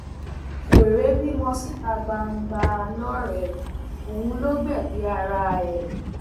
wẹrẹ bímọ síta gbangba lọrẹ òun ló gbẹbí ara ẹ